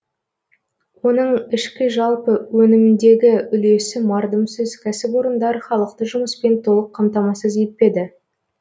оның ішкі жалпы өнімдегі үлесі мардымсыз кәсіпорындар халықты жұмыспен толық қамтамасыз етпеді